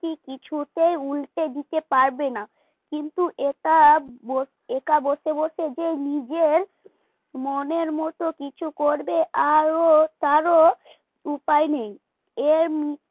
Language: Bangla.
সে কিছুতেই উল্টে দিতে পারবেনা কিন্তু একা একা বসে বসে যে নিজের নিজের মনের মত কিছু করবে আরো তারও উপায় নেই এর